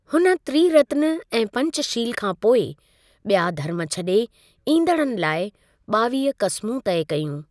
हुन त्रीरत्न ऐं पंचशील खां पोइ, ॿिया धर्मु छॾे ईंदड़नि लाइ ॿावीह क़समूं तय कयूं।